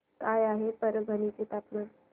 काय आहे परभणी चे तापमान